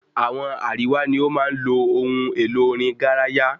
Àwọn àríwá ní o máa ń lo ohun èlo orin garaya